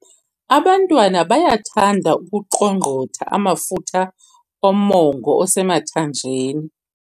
Abantwana bayathanda ukuqongqotha amafutha omongo osemathanjeni.